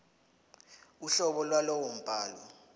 uhlobo lwalowo mbhalo